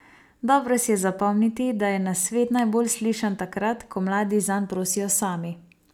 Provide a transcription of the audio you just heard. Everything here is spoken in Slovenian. Dobro si je zapomniti, da je nasvet najbolj slišan takrat, ko mladi zanj prosijo sami!